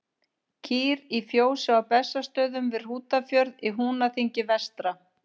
Kýr í fjósi á Bessastöðum við Hrútafjörð í Húnaþingi vestra.